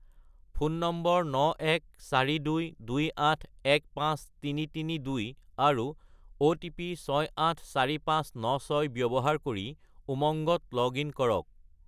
Phone নম্বৰ 91422815332 আৰু OTP 684596 ব্যৱহাৰ কৰি উমংগত লগ-ইন কৰক।